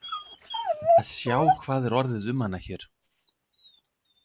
Að sjá hvað er orðið um hana hér.